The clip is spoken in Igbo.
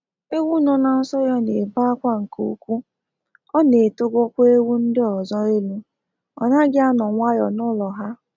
Ewu no na nso ya n'ebe akwa nke ukwu, ọ na etego kwa ewu ndị ọzọ elu, ọ naghị anọ nwayọ n'ụlọ ha